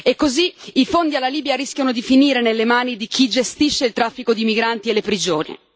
E così i fondi alla Libia rischiano di finire nelle mani di chi gestisce il traffico di migranti e le prigioni.